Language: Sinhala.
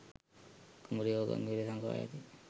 කුඹුරේ හෝ ගං ඉවුරේ සඟවා යති